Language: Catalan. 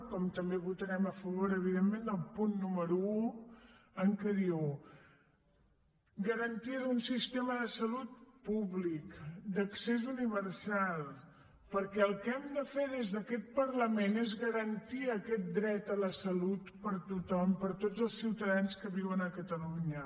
com també votarem a favor evidentment del punt número un que diu garantia d’un sistema de salut públic d’accés universal perquè el que hem de fer des d’aquest parlament és garantir aquest dret a la salut per a tothom per a tots els ciutadans que viuen a catalunya